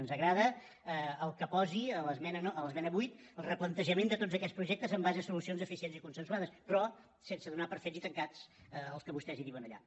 ens agrada que posi a l’esmena vuit el replantejament de tots aquests projectes amb base en solucions eficients i consensuades però sense donar per fet i tancat el que vostès diuen allà